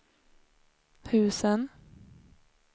husen